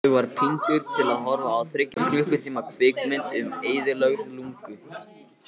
Ég var píndur til að horfa á þriggja klukkutíma kvikmynd um eyðilögð lungu.